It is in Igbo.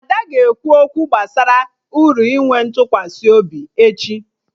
Ada ga-ekwu okwu gbasara uru inwe ntụkwasị obi echi